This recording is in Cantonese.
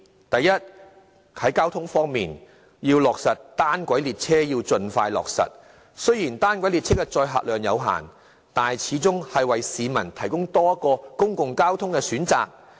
第一，在交通方面，要盡快落實單軌列車，雖然單軌列車的載客量有限，但始終是為市民提供多一個公共交通選擇。